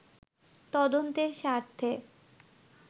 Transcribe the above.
তদন্তের স্বার্থে